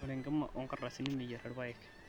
ore ekima orngadasini meyier irpaek